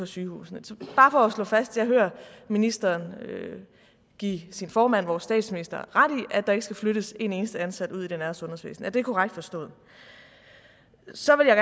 sygehusene så bare for at slå fast jeg hører ministeren give sin formand vores statsminister ret i at der ikke skal flyttes en eneste ansat ud i det nære sundhedsvæsen er det korrekt forstået så vil jeg